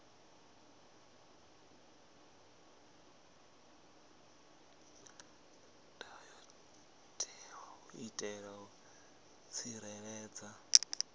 ndayotewa u itela u tsireledza